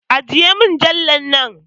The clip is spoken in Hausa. Ajiye mujallar nan!